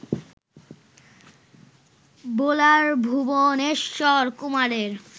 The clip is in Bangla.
বোলার ভুবনেশ্বর কুমারের